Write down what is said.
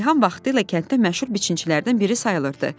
Reyhan vaxtilə kənddə məşhur biçinçilərdən biri sayılırdı.